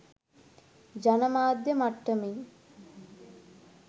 ජන මාධ්‍ය මට්ටමින්